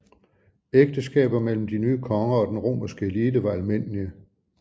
Ægteskaber mellem de nye konger og den romerske elite var almindelige